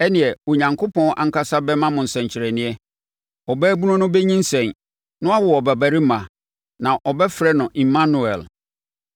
Ɛnneɛ, Onyankopɔn ankasa bɛma mo nsɛnkyerɛnneɛ; ɔbaabunu no bɛnyinsɛn, na wawo ɔbabarima, na ɔbɛfrɛ no Immanuel.